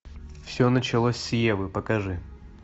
все началось с евы покажи